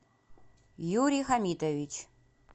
юрий хамитович